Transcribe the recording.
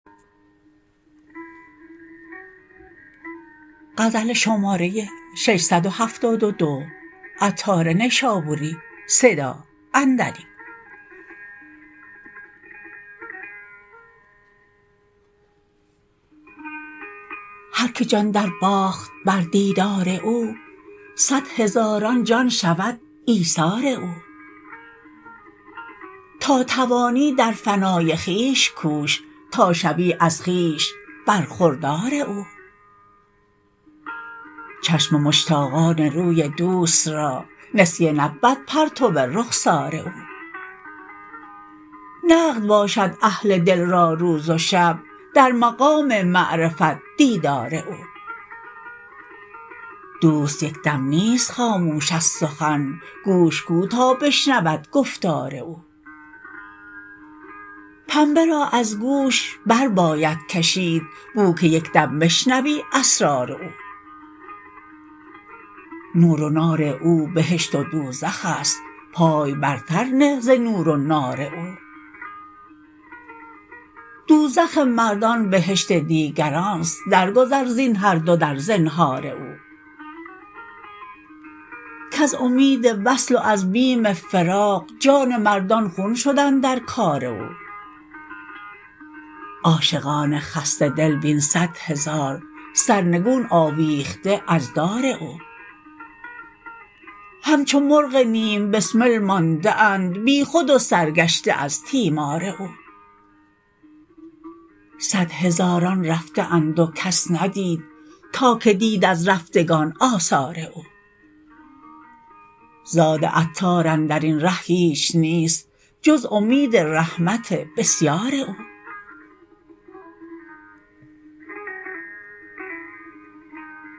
هر که جان درباخت بر دیدار او صد هزاران جان شود ایثار او تا توانی در فنای خویش کوش تا شوی از خویش برخودار او چشم مشتاقان روی دوست را نسیه نبود پرتو رخسار او نقد باشد اهل دل را روز و شب در مقام معرفت دیدار او دوست یک دم نیست خاموش از سخن گوش کو تا بشنود گفتار او پنبه را از گوش بر باید کشید بو که یکدم بشنوی اسرار او نور و نار او بهشت و دوزخ است پای برتر نه ز نور و نار او دوزخ مردان بهشت دیگران است درگذر زین هر دو در زنهار او کز امید وصل و از بیم فراق جان مردان خون شد اندر کار او عاشقان خسته دل بین صد هزار سرنگون آویخته از دار او همچو مرغ نیم بسمل مانده اند بیخود و سرگشته از تیمار او صد هزاران رفته اند و کس ندید تا که دید از رفتگان آثار او زاد عطار اندرین ره هیچ نیست جز امید رحمت بسیار او